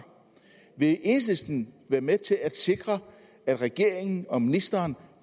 vil enhedslisten være med til at sikre at regeringen og ministeren